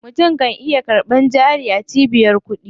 Mutum kan iya karɓan jari a cibiyar kuɗi.